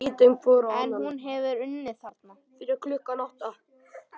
En hún hefði unnið þarna.